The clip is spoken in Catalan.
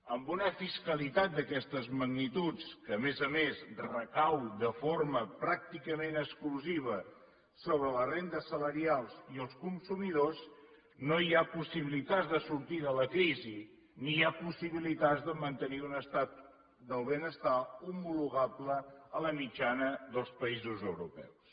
amb una fiscalitat d’aquestes magnituds que a més a més recau de forma pràcticament exclusiva sobre les rendes salarials i els consumidors no hi ha possibilitats de sortir de la crisi ni hi ha possibilitats de mantenir un estat del benestar homologable a la mitjana dels països europeus